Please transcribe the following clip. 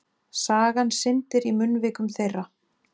Sagan syndir í munnvikum þeirra.